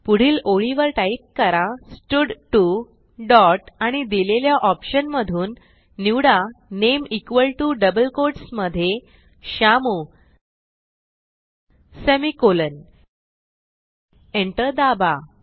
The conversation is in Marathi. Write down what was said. पुढील ओळीवर टाईप करा स्टड2 डॉट आणि दिलेल्या ऑप्शन मधून निवडा name equal to double quotes मधे श्यामू सेमिकोलॉन एंटर दाबा